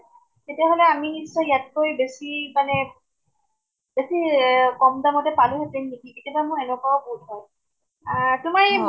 তেতিয়াহʼলে আমি নিশ্চয় ইয়াতকে বেছি মানে । বেছি এহ কʼম দামতে পালোহেতেন নেকি , কেতিয়াবা মোৰ এনেকুৱাও বুধ হয় । এ্হ তোমাৰ ই